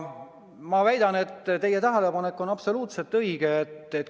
Ma väidan, et teie tähelepanek on absoluutselt õige.